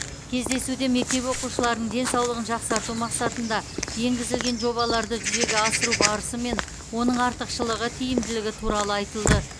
кездесуде мектеп оқушыларының денсаулығын жақсарту мақсатында енгізілген жобаларды жүзеге асыру барысы мен оның артықшылығы тиімділігі туралы айтылды